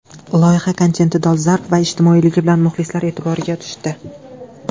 Loyiha kontenti dolzarb va ijtimoiyligi bilan muxlislar e’tiboriga tushdi.